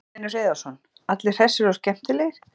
Magnús Hlynur Hreiðarsson: Allir hressir og skemmtilegir?